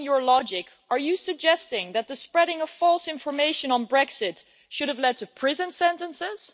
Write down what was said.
Following your logic, are you suggesting that the spreading of false information on Brexit should have led to prison sentences?